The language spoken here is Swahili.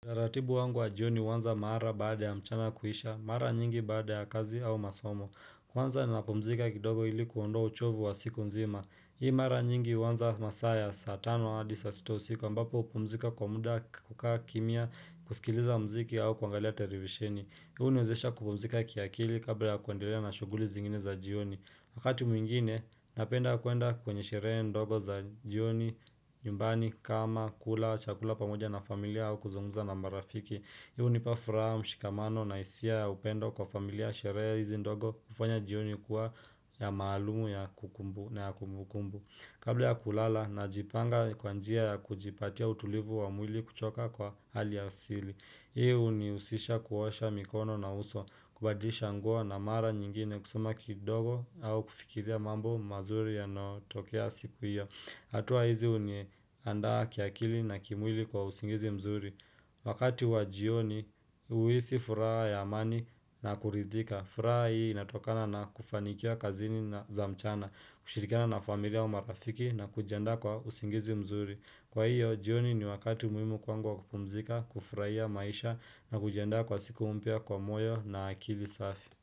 La ratibu wangu wa jioni huanza mara baada ya mchana kuisha, maara nyingi baada ya kazi au masomo, kwanza napumzika kidogo ili kuondoa uchovu wa siku nzima. Hii mara nyingi uanza masaa ya saa tano hadi saa sita usku ambapo upumzika kwa muda kukaa kimia, kusikiliza mziki au kuangalia televisheni. Huu uniwezesha kupumzika ki akili kabla ya kuendelea na shughuli zingine za jioni Wakati mwingine napenda kuenda kwenye sherehe ndogo za jioni nyumbani kama kula chakula pamoja na familia au kuzungumza na marafiki Hii unipafuraha mshikamano na hisia ya upendo kwa familia sherehe hizi ndogo kufanya jioni kuwa ya maalumu ya kumbu na ya kumbukumbu Kabla ya kulala najipanga kwa njia ya kujipatia utulivu wa mwili kuchoka kwa hali ya asili Hii unihusisha kuosha mikono na uso, kubadisha nguo na mara nyingine kusema kidogo au kufikiria mambo mazuri yanayotokea siku hiyo. Atua hizi uniandaa kiakili na kimwili kwa usingizi mzuri. Wakati wa jioni, uhisi furaha ya amani na kuridhika. Furaha hii inatokana na kufanikia kazini na za mchana, kushirikana na familia wa marafiki na kujianda kwa usingizi mzuri. Kwa hiyo, jioni ni wakati muhimu kwangu wa kupumzika, kufurahia maisha na kujiandaa kwa siku mpya kwa moyo na akili safi.